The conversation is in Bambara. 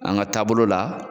An ga taabolo la